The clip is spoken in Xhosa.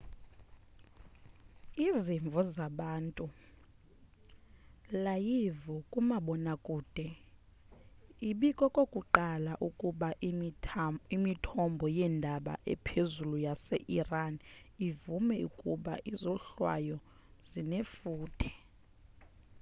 izimvo zabantu layivu kumabonwakude ibikokokuqala ukuba imithombo yeendaba ephezulu yase iran ivume ukuba izohlwayo zinefuthe